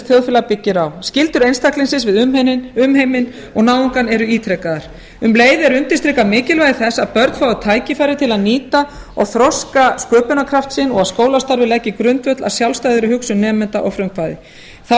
þjóðfélag byggir á skyldur einstaklingsins við umheiminn og náungann eru ítrekaðar um leið er undirstrikað mikilvægi þess að börn fái tækifæri til að nýta og þroska sköpunarkraft sinn og skólastarfið leggi grundvöll að sjálfstæðri hugsun nemenda og frumkvæði þá